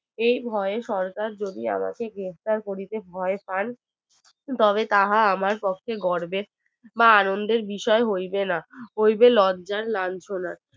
এই ভয় সরকার যদি আমাকে গ্রেফতার করিতে ভয় পান তবে তাহা আমার পক্ষে গর্বের বানন্দের বিষয় হইবে না হইবে লজ্জার লাঞ্ছনার